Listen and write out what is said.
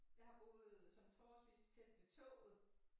Jeg har boet sådan forholdsvis tæt ved toget